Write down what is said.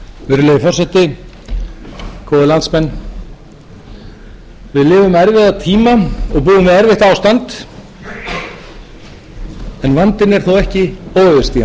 erfiðleikum sem nú er við að etja við eigum að taka réttar ákvarðanir og við